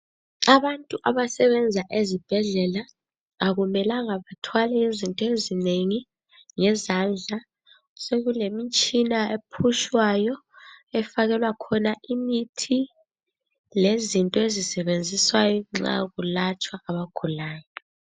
Abantu abasebenza ezibhedlela, akumelanga bathwale izinto ezinengi ngezandla. Sokulemitshina ephushwayo efakelwa khona imithi, lezinto ezisetshenziswayo nxa kulatshwa abagulayo.